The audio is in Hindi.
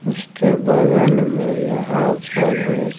उसके बगल में यहाँ पर एक --